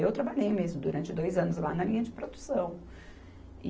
Eu trabalhei mesmo durante dois anos lá na linha de produção.